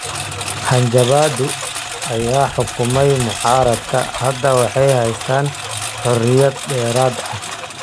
Hanjabaado ayaa xukumay mucaaradka. Hadda waxay haystaan ??xoriyad dheeraad ah.